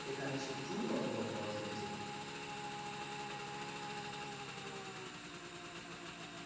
এখানে সে true অথবা false হচ্ছে